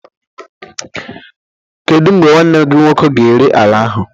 Kedu mgbe nwanne gị nwoke ga-ere ala ahụ?